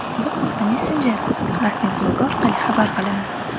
Bu haqda messenjerning rasmiy blogi orqali xabar qilindi .